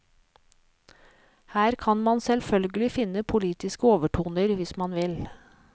Her kan man selvfølgelig finne politiske overtoner hvis man vil.